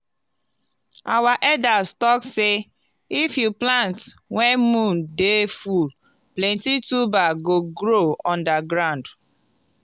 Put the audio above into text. our elders talk sey if you plant when moon dey full plenty tuber go grow under ground.